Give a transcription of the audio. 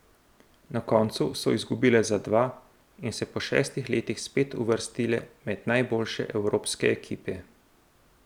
Na koncu so izgubile za dva in se po šestih letih spet uvrstile med najboljše evropske ekipe.